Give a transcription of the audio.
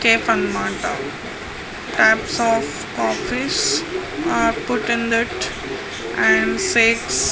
Cafe అన్నమాట. All types of coffees put in that and ]